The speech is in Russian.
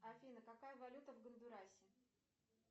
афина какая валюта в гондурасе